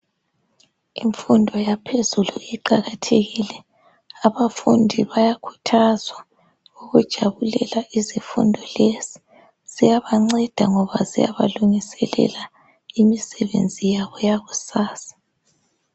Imfundo yaphezulu iqakathekile abafundi bayakhuthazwa ukujabulela izifundo lezi. Ziyabanceda ngoba ziyabalungiselela imisebenzi yabo yakusasa.